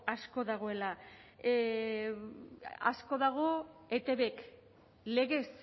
asko dagoela asko dago etbk legez